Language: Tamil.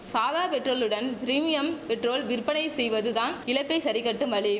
சாதா பெட்ரோலுடன் பிரிமியம் பெட்ரோல் விற்பனை செய்வது தான் இழப்பை சரிகட்டும் வழி